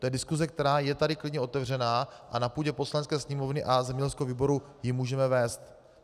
To je diskuse, která je tady klidně otevřená a na půdě Poslanecké sněmovny a zemědělského výboru ji můžeme vést.